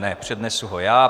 Ne, přednesu ho já: